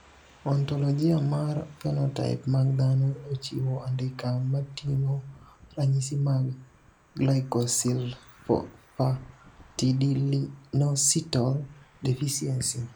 Ontologia mar phenotype mag dhano ochiwo andika moting`o ranyisi mag Glycosylphosphatidylinositol deficiency.